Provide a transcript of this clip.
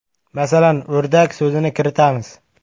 Masalan, “o‘rdak” so‘zini kiritamiz.